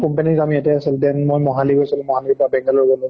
company ৰ কাম ইয়াতে আছিল then মই মহালি গৈছিলো, মহালিৰ পৰা বেঙ্গালুৰু